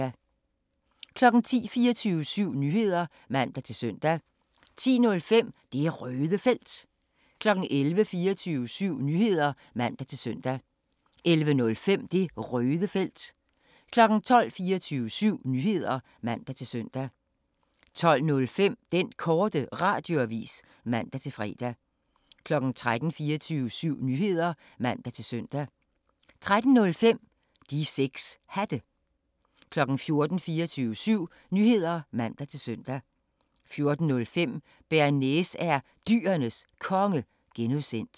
10:00: 24syv Nyheder (man-søn) 10:05: Det Røde Felt 11:00: 24syv Nyheder (man-søn) 11:05: Det Røde Felt 12:00: 24syv Nyheder (man-søn) 12:05: Den Korte Radioavis (man-fre) 13:00: 24syv Nyheder (man-søn) 13:05: De 6 Hatte 14:00: 24syv Nyheder (man-søn) 14:05: Bearnaise er Dyrenes Konge (G)